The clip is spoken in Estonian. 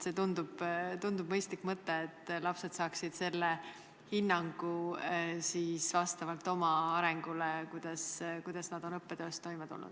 See tundub mõistlik mõte, et lapsed saaksid hinnangu vastavalt oma arengule, kuidas nad on õppetöös toime tulnud.